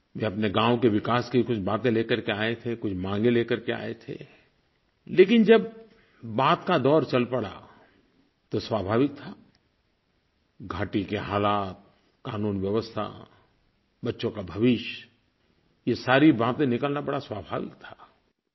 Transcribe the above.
वे अपने गाँव के विकास की कुछ बातें लेकर के आए थे कुछ माँगें लेकर के आए थे लेकिन जब बात का दौर चल पड़ा तो स्वाभाविक था घाटी के हालात क़ानून व्यवस्था बच्चों का भविष्य ये सारी बातें निकलना बड़ा स्वाभाविक था